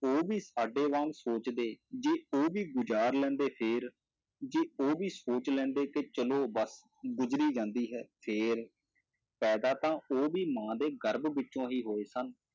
ਉਹ ਵੀ ਸਾਡੇ ਵਾਂਗ ਸੋਚਦੇ, ਜੇ ਉਹ ਵੀ ਗੁਜ਼ਾਰ ਲੈਂਦੇ ਫਿਰ, ਜੇ ਉਹ ਵੀ ਸੋਚ ਲੈਂਦੇ ਕਿ ਚਲੋ ਬਸ ਗੁਜ਼ਰੀ ਜਾਂਦੀ ਹੈ ਫਿਰ, ਪੈਦਾ ਤਾਂ ਉਹ ਵੀ ਮਾਂ ਦੇ ਗਰਭ ਵਿੱਚੋਂ ਹੀ ਹੋਏ ਸਨ।